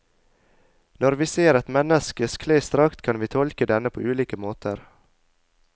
Når vi ser et menneskes klesdrakt, kan vi tolke denne på ulike måter.